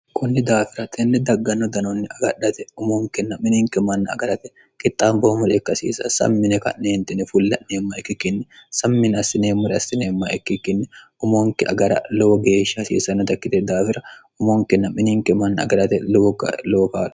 kunni daafira tinni dagganno danoonni agadhate umonkinna mininki manna agarate kixxaam boomure ikkasiisa sammine ka'neentine fulla'neemma ikki kinni sammine assineemmure assineemma ikki kinni umonki agara lowo geeshsha hasiisannotakkite daafira umonkinna mininki manni agarate lowo lowo kaalo